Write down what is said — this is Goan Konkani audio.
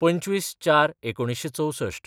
२५/०४/१९६४